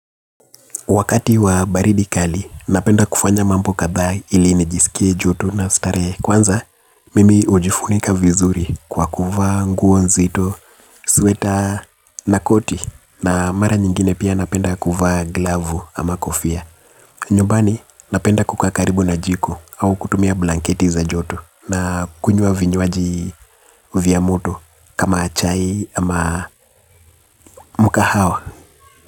Wakati wa baridi kali, napenda kufanya mambo kadhaa ili nijisikie joto na starehe. Kwanza, mimi hujifunika vizuri kwa kuvaa nguo nzito, sweta na koti. Na mara nyingine pia napenda kuva glavu ama kofia. Nyumbani, napenda kukaa karibu na jiko au kutumia blanketi za joto. Na kunywa vinywaji vya moto kama chai ama mkahawa.